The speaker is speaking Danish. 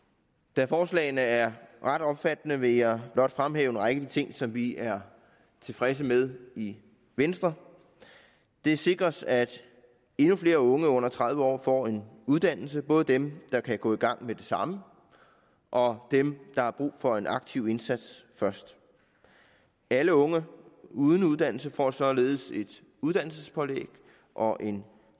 da forslagene er ret omfattende vil jeg blot fremhæve en række af de ting som vi er tilfredse med i venstre det sikres at endnu flere unge under tredive år får en uddannelse både dem der kan gå i gang med det samme og dem der har brug for en aktiv indsats først alle unge uden uddannelse får således et uddannelsespålæg og en